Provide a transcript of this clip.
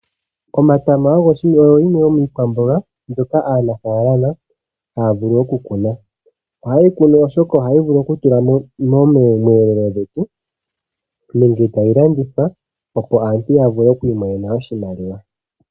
Omatama ogo yimwe yomiikwamboga mbyoka aanafalama haya vulu okukuna, ohaye yikunu oshoka ohayi vulu okutulwa miiyelelwa yetu nenge tayi landithwa po aantu yavule okwiimonena oshimaliwa.